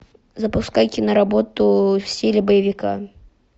запускай киноработу в стиле боевика